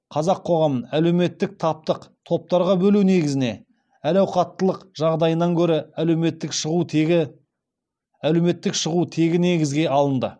қазақ қоғамын әлеуметтік таптық топтарға бөлу негізіне әл ауқаттылық жағдайынан гөрі әлеуметтік шығу тегі негізге алынды